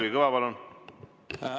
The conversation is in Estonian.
Kalvi Kõva, palun!